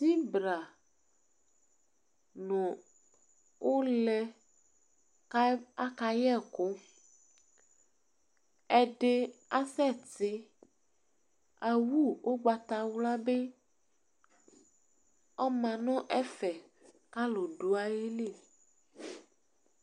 Zibra nʊ ʊlɛ ka kayɛkʊ ɛdɩ asɛse awu ʊgbawlabi ɔma n-ɛfɛ kalʊ dʊ'ayili